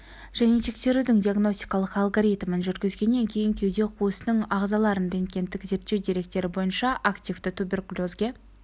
және тексерудің диагностикалық алгоритмін жүргізгеннен кейін кеуде қуысының ағзаларын рентгендік зерттеу деректері бойынша активті туберкулезге